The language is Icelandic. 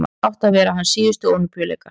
þetta áttu að vera hans síðustu ólympíuleikar